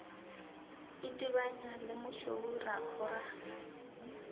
itebanya le mošweu ra khora